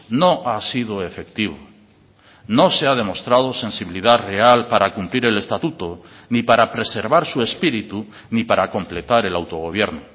no ha sido efectivo no se ha demostrado sensibilidad real para cumplir el estatuto ni para preservar su espíritu ni para completar el autogobierno